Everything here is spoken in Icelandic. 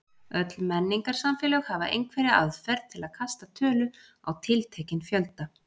Öll menningarsamfélög hafa einhverja aðferð til að kasta tölu á tiltekinn fjölda.